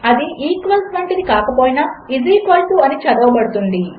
అదిequals వంటిదికాకపోయినాఈస్ equal to అని చదవబడుతుంది